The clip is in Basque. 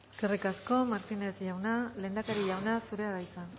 eskerrik asko martínez jauna lehendakari jauna zurea da hitza